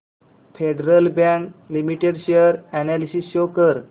federal bank limited share analysis show कर